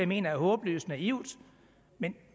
mener er håbløst naivt men